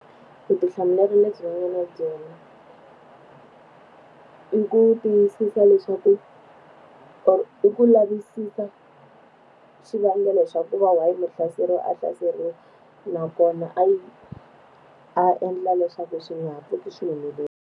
Ku vutihlamuleri lebyi nga na byona i ku tiyisisa leswaku or i ku lavisisa xivangelo xa ku va why muhlaseriwa a hlaseriwile nakona a a endla leswaku swi nga ha pfuki swi humelerile.